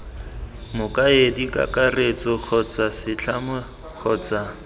mokaedi kakaretso kgotsa setlamo kgotsa